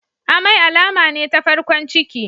Amai alama ne ta farkon ciki.